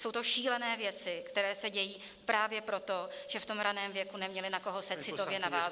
Jsou to šílené věci, které se dějí právě proto, že v tom raném věku neměly, na koho se citově navázat.